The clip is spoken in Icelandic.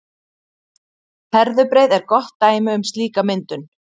Herðubreið er gott dæmi um slíka myndun.